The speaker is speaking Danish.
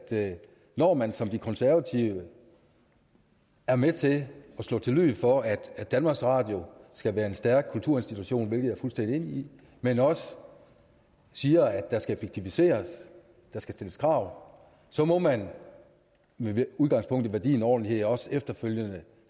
når man som de konservative er med til at slå til lyd for at at danmarks radio skal være en stærk kulturinstitution hvilket jeg er fuldstændig enig i men også siger at der skal effektiviseres der skal stilles krav så må man med udgangspunkt i værdien ordentlighed også efterfølgende have